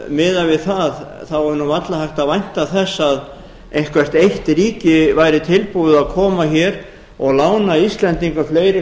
miðað við það þá er nú varla hægt að vænta þess að eitthvert eitt ríki væri tilbúið að koma hér og lána íslendingum fleiri